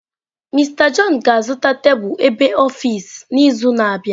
Mister john ga-azụta tebụl ab office n’izu na-abịa.